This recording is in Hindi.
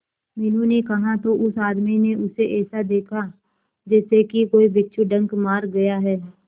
मीनू ने कहा तो उस आदमी ने उसे ऐसा देखा जैसे कि कोई बिच्छू डंक मार गया है